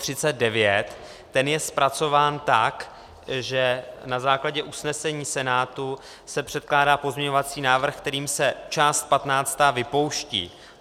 Ten je zpracován tak, že na základě usnesení Senátu se předkládá pozměňovací návrh, kterým se část 15. vypouští.